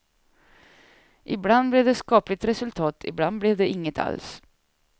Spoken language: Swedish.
Ibland blev det skapligt resultat, ibland blev det inget alls.